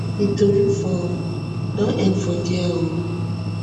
di tori for don end for dia um